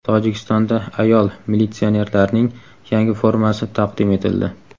Tojikistonda ayol militsionerlarning yangi formasi taqdim etildi.